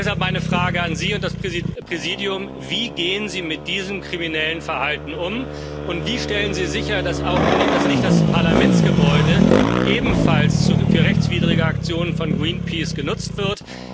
Deshalb meine Frage an Sie und das Präsidium Wie gehen Sie mit diesem kriminellen Verhalten um, und wie stellen Sie sicher, dass nicht das Parlamentsgebäude ebenfalls für rechtswidrige Aktionen von Greenpeace genutzt wird?